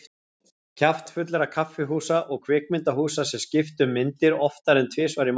Kjaftfullra kaffihúsa og kvikmyndahúsa sem skiptu um myndir oftar en tvisvar í mánuði.